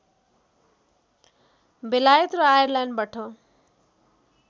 बेलायत र आयरल्यान्डबाट